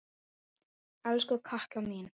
Elsku Katla mín.